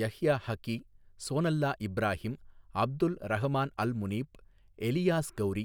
Yahya Haqqi, Sonallah Ibrahim, Abdul Rahman al Munif, Elias Khoury,